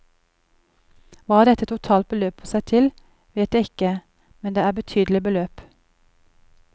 Hva dette totalt beløper seg til, vet jeg ikke, men det er betydelige beløp.